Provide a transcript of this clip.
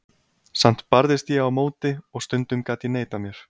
Samt barðist ég á móti og stundum gat ég neitað mér.